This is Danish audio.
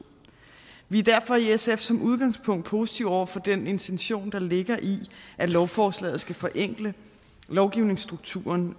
vi er derfor i sf som udgangspunkt positive over for den intention der ligger i at lovforslaget skal forenkle lovgivningsstrukturen